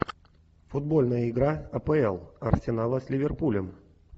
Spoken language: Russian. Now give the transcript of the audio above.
футбольная игра апл арсенала с ливерпулем